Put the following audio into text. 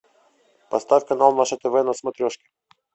поставь канал наше тв на смотрешке